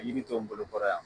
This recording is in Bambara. Ka yiri to n bolo kɔrɔ yan